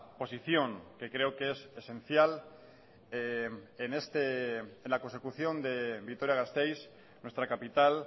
posición que creo que es esencial en este en la consecución de vitoria gasteiz nuestra capital